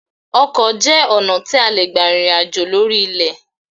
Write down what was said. Ọkọ jẹ́ ọ̀nà tí a lè gbà rìnrìn àjò lórí ilẹ̀